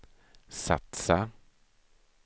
satsa